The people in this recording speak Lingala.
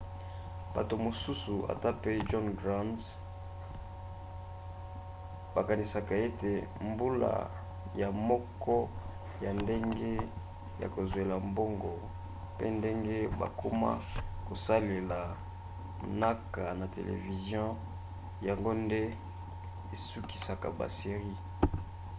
bato mosusu ata mpe john grand bakanisaka ete mbula ya moko ya ndenge ya kozwela mbongo mpe ndenge bakoma kosalela mnaka na televizio yango nde esukisaka ba series